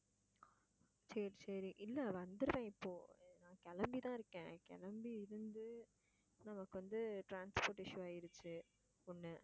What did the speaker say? சரி, சரி இல்ல வந்துடுவேன் இப்போ நான் கிளம்பிதான் இருக்கேன் கிளம்பி இருந்து நமக்கு வந்து transport issue ஆயிடுச்சு ஒண்ணு.